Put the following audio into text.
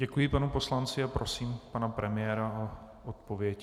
Děkuji panu poslanci a prosím pana premiéra o odpověď.